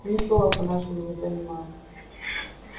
ни слова по-нашему не понимал